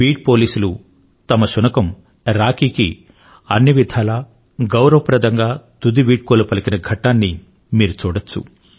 bead పోలీసులు తమ శునకం రాకీకి అన్ని విధాలా గౌరవప్రదంగా తుది వీడ్కోలు పలికిన ఘట్టాన్ని మీరు చూడొచ్చు